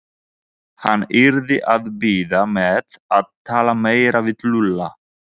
Hann yrði að bíða með að tala meira við Lúlla.